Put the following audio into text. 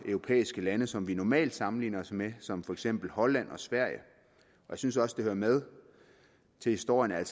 europæiske lande som vi normalt sammenligner os med som for eksempel holland og sverige jeg synes også det hører med til historien at